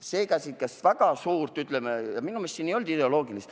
Seega, sellist väga suurt, ütleme, ideoloogilist vastuolu minu meelest ei olnud.